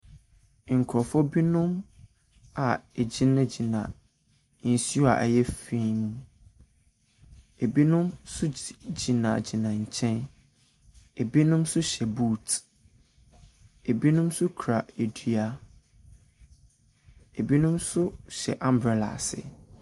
Nkurofoɔ binom a wogyina gyina nsu ɛyɛ fii mu. Ebinom so gyina gyina nkyɛn. Ebinom so hyɛ buut, ebinom so kura adua. Ebinom so hyɛ ambrɛla ase.